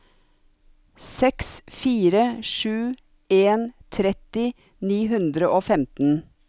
seks fire sju en tretti ni hundre og femten